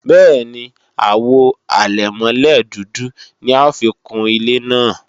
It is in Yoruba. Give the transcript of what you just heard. Bẹ́ẹ̀ni, Àwo àlẹ̀mọ́lẹ̀ dúdú ni a ó fi kun ilé náà